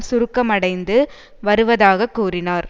சுருக்கமடைந்து வருவதாக கூறினார்